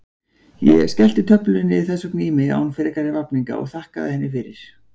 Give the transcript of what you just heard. Ég skellti töflunni þess vegna í mig án frekari vafninga og þakkaði henni fyrir.